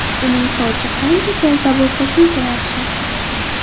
Uning sochi qancha kalta bo‘lsa, shuncha yaxshi.